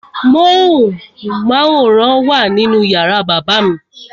Móhùnmáwòrán wà nínú yàrá bàbá mi.